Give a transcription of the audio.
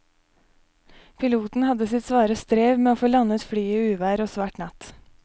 Piloten hadde sitt svare strev med å få landet flyet i uvær og svart natt.